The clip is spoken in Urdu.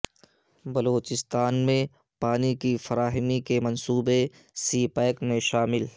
بلوچستان میں پانی کی فراہمی کے منصوبے سی پیک میں شامل